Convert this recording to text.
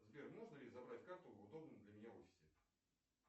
сбер можно ли забрать карту в удобном для меня офисе